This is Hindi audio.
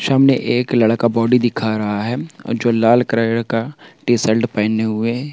सामने एक लड़का बॉडी दिखा रहा है जो लाल कलर का टी शल्ट पहने हुए --